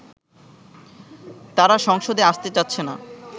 তারা সংসদে আসতে চাচ্ছেনা